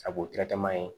A b'o